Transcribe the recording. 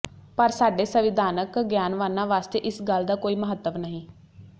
ਪਰ ਸਾਡੇ ਸੰਵਿਧਾਨਕ ਗਿਆਨਵਾਨਾਂ ਵਾਸਤੇ ਇਸ ਗੱਲ ਦਾ ਕੋਈ ਮਹੱਤਵ ਨਹੀਂ